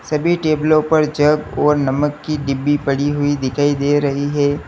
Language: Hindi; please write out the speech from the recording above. सभी टेबलो पर जग और नमक की डिब्बी पड़ी हुई दिखाई दे रही है।